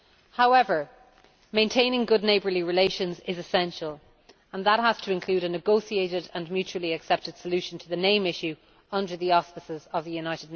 However, maintaining good neighbourly relations is essential, and that has to include a negotiated and mutually accepted solution to the name issue, under the auspices of the UN.